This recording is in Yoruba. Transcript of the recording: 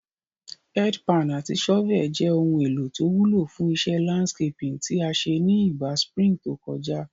Head pan àti shovel je oun èlò to wúlò fún isé landscaping tí a sé ni ìgba spring to kojá